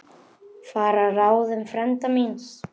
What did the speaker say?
Fara að ráðum frænda míns.